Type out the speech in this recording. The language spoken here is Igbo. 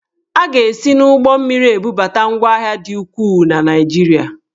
A ga-esi n'ụgbọmmiri ebubata ngwahịa dị ukwuu na Naịjirịa.